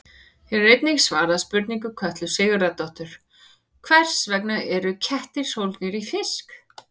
Hér er einnig svarað spurningu Kötlu Sigurðardóttur: Hvers vegna eru kettir sólgnir í fisk?